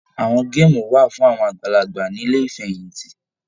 Àwọn geemu wà fún àwọn àgbàlagbà nílé ifẹ̀yinti